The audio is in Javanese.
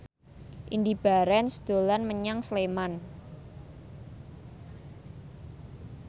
Indy Barens dolan menyang Sleman